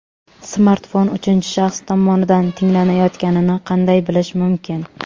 Smartfon uchinchi shaxs tomonidan tinglanayotganini qanday bilish mumkin?.